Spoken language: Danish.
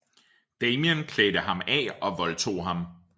Damien klædte ham af og voldtog ham